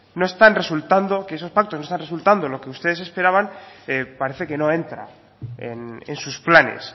no están resultando en lo que ustedes esperaban parece que no entra en sus planes